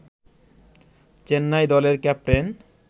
চেন্নাই দলের ক্যাপ্টেন